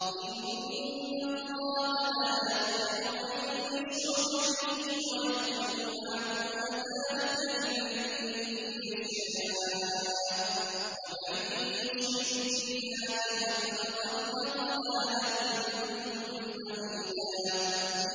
إِنَّ اللَّهَ لَا يَغْفِرُ أَن يُشْرَكَ بِهِ وَيَغْفِرُ مَا دُونَ ذَٰلِكَ لِمَن يَشَاءُ ۚ وَمَن يُشْرِكْ بِاللَّهِ فَقَدْ ضَلَّ ضَلَالًا بَعِيدًا